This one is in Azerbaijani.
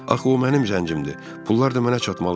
Axı o mənim zəncimdir, pullar da mənə çatmalı idi.